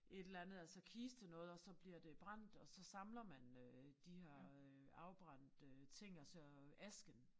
Et eller andet altså kistenoget og så bliver det brændt og så samler man øh de her øh afbrændte ting og så øh asken